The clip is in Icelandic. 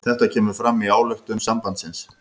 Þetta kemur fram í ályktun sambandsins